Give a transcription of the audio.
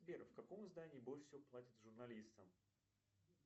сбер в каком издании больше всего платят журналистам